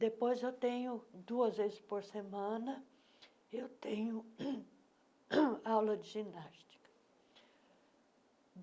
Depois eu tenho, duas vezes por semana, eu tenho aula de ginástica.